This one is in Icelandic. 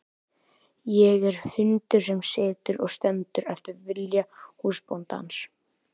Ég er hundur sem situr og stendur eftir vilja húsbóndans.